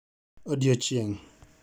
Odiechieng'